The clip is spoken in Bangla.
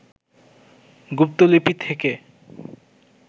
গুপ্তলিপি থেকে